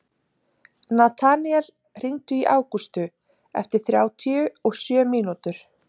Nataníel, hringdu í Ágústu eftir þrjátíu og sjö mínútur.